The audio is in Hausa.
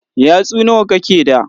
Yatsu nawa kake da?